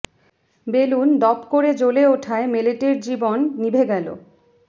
balloon দপ করে জ্বলে ওঠায় মেলেটের জীবন নিভে গেল